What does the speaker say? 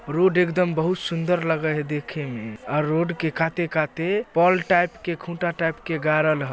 Road एकदम बहुत सुंदर लगय है देखेमें और रोड के काते-काते पोल टाइप के खुटा टाइप के गारल ह।